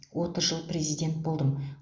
отыз жыл президент болдым